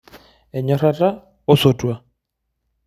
Enyorata osotua.